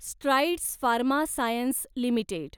strides Pharma Science limited